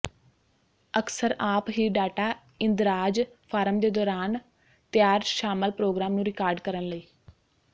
ਅਕਸਰ ਆਪ ਹੀ ਡਾਟਾ ਇੰਦਰਾਜ਼ ਫਾਰਮ ਦੇ ਦੌਰਾਨ ਤਿਆਰ ਸ਼ਾਮਲ ਪ੍ਰੋਗਰਾਮ ਨੂੰ ਰਿਕਾਰਡ ਕਰਨ ਲਈ